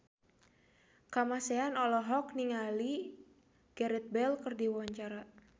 Kamasean olohok ningali Gareth Bale keur diwawancara